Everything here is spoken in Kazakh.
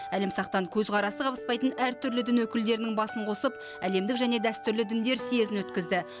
әлімсақтан көзқарасы қабыспайтын әртүрлі дін өкілдерінің басын қосып әлемдік және дәстүрлі діндер съезін өткізді